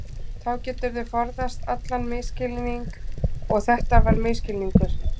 Þá geturðu forðast allan misskilning og þetta var misskilningur.